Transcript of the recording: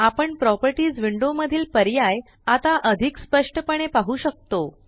आपण properties window मधील पर्याय आता अधिक सप्ष्ट पणे पाहु शकतो